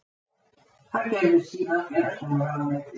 Það gerði síðan félagsmálaráðuneytið